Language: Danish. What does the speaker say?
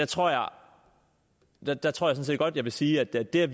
tror jeg sådan set godt jeg vil sige at det er